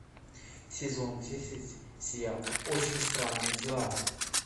сезон десять сериал очень странные дела